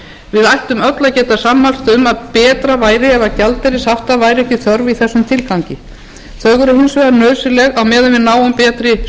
við ættum öll að geta sammælst um að betra væri ef gjaldeyrishafta væri ekki þörf í þessum tilgangi þau eru hins vegar nauðsynleg á meðan við náum betri